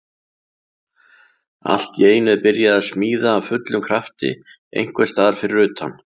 Allt í einu er byrjað að smíða af fullum krafti einhvers staðar fyrir utan.